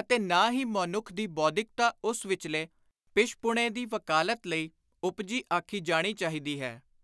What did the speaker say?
ਅਤੇ ਨਾ ਹੀ ਮੌਨੁੱਖ ਦੀ ਬੌਧਿਕਤਾ ਉਸ ਵਿਚਲੇ ਪਿਸ਼ਪੁਣੇ ਦੀ ਵਕਾਲਤ ਲਈ ਉਪਜੀ ਆਖੀ ਜਾਣੀ ਚਾਹੀਦੀ ਹੈ।